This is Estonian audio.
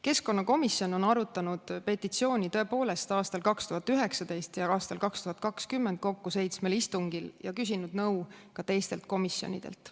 Keskkonnakomisjon on arutanud petitsiooni 2019. ja 2020. aastal kokku seitsmel istungil ja küsinud nõu ka teistelt komisjonidelt.